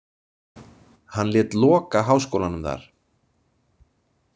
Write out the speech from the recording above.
Hann lét loka háskólanum þar.